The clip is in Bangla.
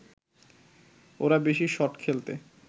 ওরা বেশি শট খেলতে